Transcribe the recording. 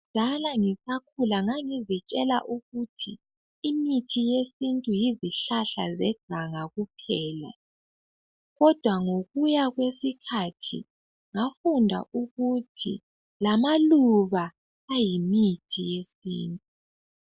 Kudala ngisakhula, ngangizitshela ukuthi imithi yesintu, yizihlahla zeganga kuphela. Kodwa ngokuya kwesikhathi , ngafunda ukuthi lamaluba, aseyimithi yesintu.